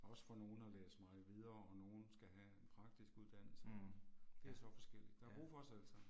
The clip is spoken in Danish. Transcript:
Også for nogen at læse meget videre og nogen skal have en praktisk uddannelse det er så forskelligt, der er brug for os alle sammen